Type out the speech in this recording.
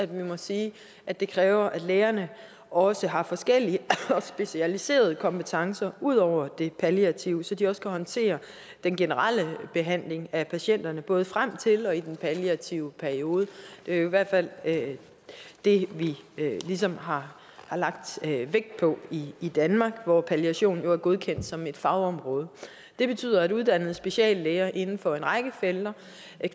vi må sige at det kræver at lægerne også har forskellige specialiserede kompetencer ud over de palliative så de også kan håndtere den generelle behandling af patienterne både frem til og i den palliative periode det er i hvert fald det vi ligesom har lagt vægt på i danmark hvor palliation jo er godkendt som et fagområde det betyder at uddannede speciallæger inden for en række felter